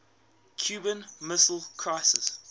cuban missile crisis